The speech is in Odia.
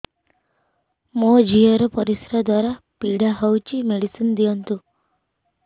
ମୋ ଝିଅ ର ପରିସ୍ରା ଦ୍ଵାର ପୀଡା ହଉଚି ମେଡିସିନ ଦିଅନ୍ତୁ